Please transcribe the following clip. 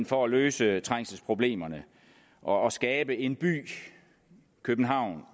for at løse trængselsproblemerne og skabe en by københavn